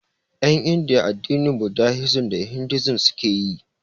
En Indiya addinin budahisim da hindusim suke yi